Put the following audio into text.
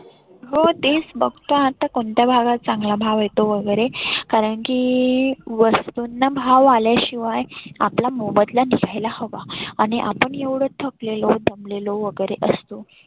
हो तेच फक्त आता कोणत्या भागात चांगला भाव येतो वगैरे. कारण की वस्तुंना भाव आल्याशिवाय आपला मोबदला घ्यायला हवा आणि आपण एवढ थकलेलो दमलेलो वगैरे असतो.